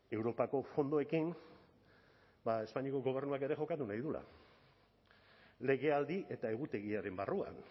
europako fondoekin espainiako gobernuak ere jokatu nahi duela legealdi eta egutegiaren barruan